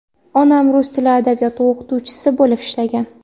Onam rus tili va adabiyoti o‘qituvchisi bo‘lib ishlagan.